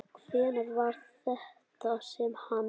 Hvenær var þetta sem hann.